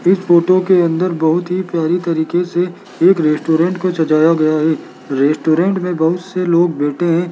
इस फोटो के अंदर बहुत ही प्यारी तरीके से एक रेस्टोरेंट को सजाया गया है रेस्टोरेंट में बहुत से लोग बैठे हैं।